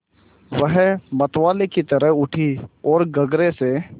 वह मतवाले की तरह उठी ओर गगरे से